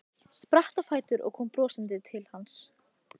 Spratt á fætur og kom brosandi til hans.